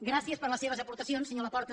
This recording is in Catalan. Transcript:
gràcies per les seves aportacions senyor laporta